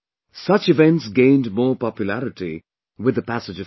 Such events gained more popularity with the passage of time